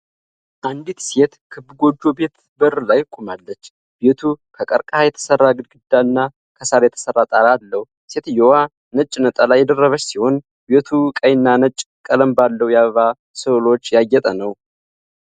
አንዲት ሴት ክብ ጎጆ ቤት በር ላይ ቆማለች፤ ቤቱ ከቀርከሃ የተሰራ ግድግዳ እና ከሳር የተሰራ ጣራ አለው። ሴትየዋ ነጭ ነጠላ የደረበች ሲሆን ቤቱ ቀይ እና ነጭ ቀለም ባለው የአበባ ስዕሎች ያጌጠ ነው።